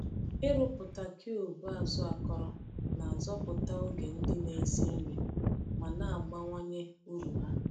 Ịrụpụta cube azụ akọrọ na-azọpụta oge ndị na-esi nri ma na-abawanye uru ha.